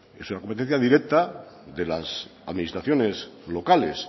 es una competencia directa de las administraciones locales